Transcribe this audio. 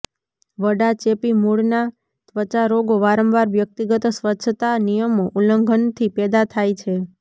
વડા ચેપી મૂળના ત્વચા રોગો વારંવાર વ્યક્તિગત સ્વચ્છતા નિયમો ઉલ્લંઘન થી પેદા થાય છે